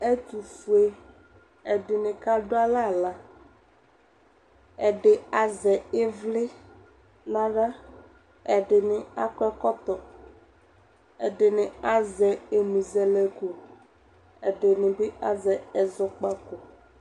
Ɛtʋfue, ɛdɩnɩ kadʋ alɛ aɣla, ɛdɩ azɛ ɩvlɩ nʋ aɣla Ɛdɩnɩ akɔ ɛkɔtɔ, ɛdɩnɩ azɛ ɛmʋzɛlɛko, ɛdɩnɩ bɩ azɛ ɛzɔkpako